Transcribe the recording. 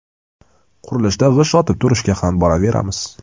Qurilishda g‘isht otib turishga ham boraveramiz.